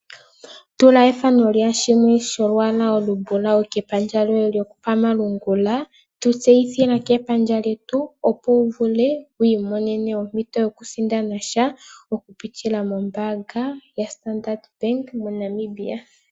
Tula olwaala olumbulawu kepandja lyoye lyokomalungula tuvtseyithila kepandja lyetu opo wu vule wi imonene ompito yokusindana sha oku pitila mombaanga yaStandard bank mo Namibia.